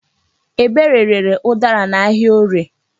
Ebere rere ụdara n'ahịa Orie.